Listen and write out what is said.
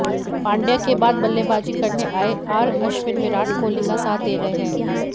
पांड्या के बाद बल्लेबाजी करने आए आर अश्विन विराट कोहली का साथ दे रहे हैं